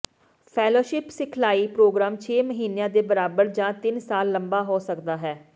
fellowship ਸਿਖਲਾਈ programme ਛੇ ਮਹੀਨਿਆਂ ਦੇ ਬਰਾਬਰ ਜਾਂ ਤਿੰਨ ਸਾਲ ਲੰਬਾ ਹੋ ਸਕਦਾ ਹੈ